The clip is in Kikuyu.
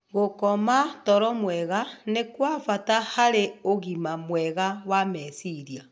Gũkoma toro mwega nĩ kwa bata harĩ ũgima mwega wa meciria.